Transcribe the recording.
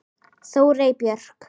Þórey Björk.